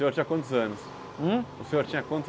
E o senhor tinha quantos anos? Hum? O senhor tinha quantos